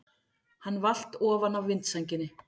Hann valt ofan af vindsænginni!